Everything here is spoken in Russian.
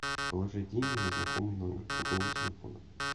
положить деньги на знакомый номер другого телефона